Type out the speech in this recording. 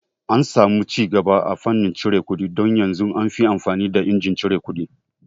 An samu cigaba a fannin cire kuɗi don yanzun anfi amfani da injin cire kuɗi